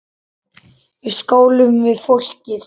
Við skálum við fólkið.